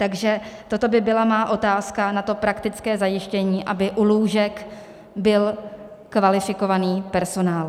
Takže toto by byla má otázka na to praktické zajištění, aby u lůžek byl kvalifikovaný personál.